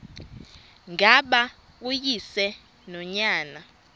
ngaba uyise nonyana